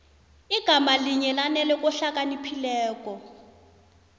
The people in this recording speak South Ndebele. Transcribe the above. igama linye lanele kohlakaniphileko